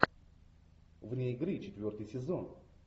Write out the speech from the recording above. вне игры четвертый сезон